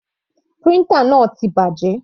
Printer náà ti bàjẹ́.